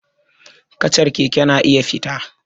Kacar keke na iya fita